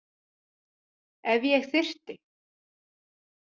Ef ég þyrfti.